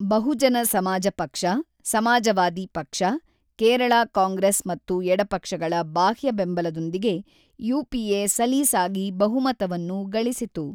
ಬಹುಜನ ಸಮಾಜ ಪಕ್ಷ, ಸಮಾಜವಾದಿ ಪಕ್ಷ, ಕೇರಳ ಕಾಂಗ್ರೆಸ್ ಮತ್ತು ಎಡಪಕ್ಷಗಳ ಬಾಹ್ಯ ಬೆಂಬಲದೊಂದಿಗೆ ಯುಪಿಎ ಸಲೀಸಾಗಿ ಬಹುಮತವನ್ನು ಗಳಿಸಿತು.